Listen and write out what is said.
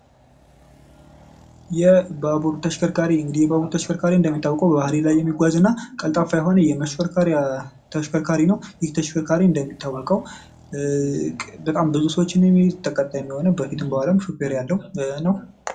የባቡር ተሽከርካሪ እንግዲህ የባቡር ተሽከርካሪ እንደሚታወቀው በሐድድ ላይ የሚሽከረከር እና ቀልጣፋ የሆነ የመሽከርከሪያ ተሽከርካሪ ነው። ይህ ተሽከርካሪ እንደሚታወቀው በጣም ብዙ ሰዎችን የሚይዝ የሆነ በፊትም በኋላም ሹፌር ያለው ነው።